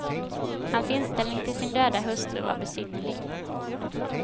Hans inställning till sin döda hustru var besynnerlig.